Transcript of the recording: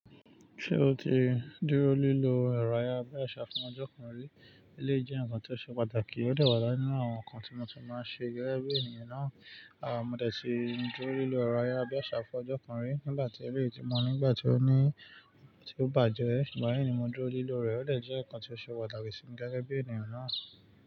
Ṣé o ti dúró lílọ ẹ̀rọ ayárabíàṣá fún ọjọ́ kan rí? Eléyìí jẹ́ ǹkan tó ṣe pàtàkì, ó dẹ̀ wá nínú àwọn ǹkan tí mo ti máa ṣe gẹ́gẹ́ bí ènìyàn náà. Mo dẹ̀ tí dúró lílọ ẹ̀rọ ayárabíàṣá fún ọjọ́ kan rí nígbà tí eléyìí ti mọ̀ ní ngbà tí ó ní tí ó bàjẹ́, ṣùgbọ́n lẹ́yìn ni mo dúró lílọ rẹ̀. Ó dẹ̀ jẹ́ ǹkan tó ṣe pàtàkì sí mi gẹ́gẹ́ bí ènìyàn náà.